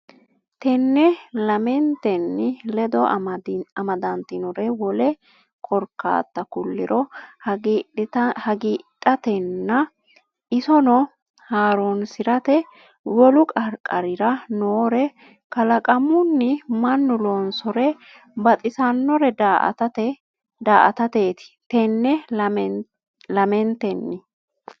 Tenne lamentenni ledo amadantinore wole korkaatta kulliro hagiidhatenna isonoo haaroonsi’rate, wolu qarqarira noore kalaqamun- mannu loonsore baxisannore daa”atateeti Tenne lamentenni.